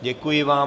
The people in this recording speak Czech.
Děkuji vám.